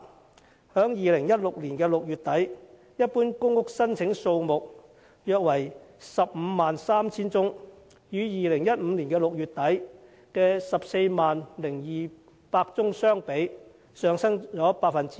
截至2016年6月底，一般公屋申請數目約為 153,000 宗，與2015年6月底的 140,200 宗相比，上升了 9%。